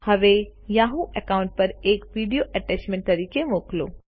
હવે Yahoo account પર એક વિડિઓ એટેચમેન્ટ તરીકે મોકલો